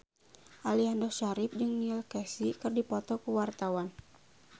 Aliando Syarif jeung Neil Casey keur dipoto ku wartawan